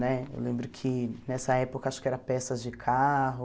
Né? Eu lembro que nessa época, acho que era peças de carro...